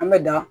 An bɛ da